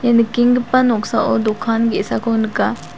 ia nikenggipa noksao dokan ge·sako nika.